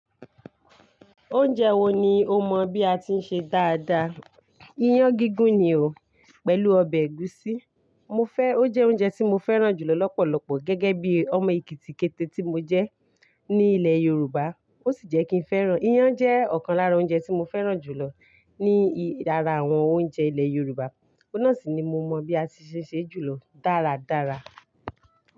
Oúnjẹ wo ni o mọ bí a ti ń ṣe dáadáa? Iyán gígún ni o, pẹ̀lú ọbẹ̀ ẹ̀gúsí. Mo fẹ́, ó jẹ́ oúnjẹ tí mo fẹ́ràn jù lọ lọ́pọ̀lọpọ̀ gẹ́gẹ́ bí ọmọ ekitikete tí mo jẹ́ ní ilẹ̀ Yorùbá. Ó sì jẹ́ kí ń fẹ́ràn. Iyán jẹ́ ọ̀kan lára oúnjẹ tí mo fẹ́ràn jù lọ ní ara àwọn oúnjẹ ilẹ̀ Yorùbá. Ó náà sì ni mo mọ bí a ti se ń ṣe jù lọ dáradára.